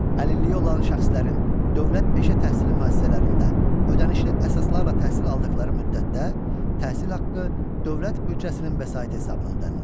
Əlilliyi olan şəxslərin dövlət peşə təhsili müəssisələrində ödənişli əsaslarla təhsil aldıqları müddətdə təhsil haqqı dövlət büdcəsinin vəsait hesabına ödənilir.